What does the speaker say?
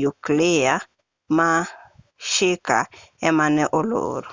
nyuklia ma shika ema ne olor